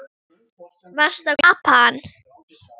Varstu að koma frá Japan?